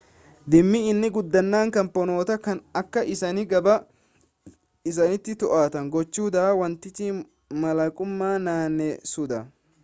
dhimmi inni guddaan kaampanoota kana akka isaan gabaa isaanii to'atan gochuu dha wantichi mallaquma naanneessuudha